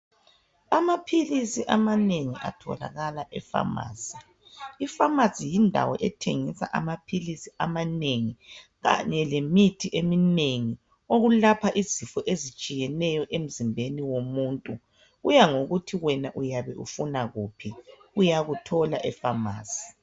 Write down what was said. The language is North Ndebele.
Amaphilisi amanengi atholakala epharmacy iphamacy yindawo ethengisa amaphilisi amanengi kanye lemithi eminengi okulapha izifo ezitshiyeneyo emzimbeni womuntu kuyangokuthi wena uyabe ufuna kuphi uyakuthola epharmacy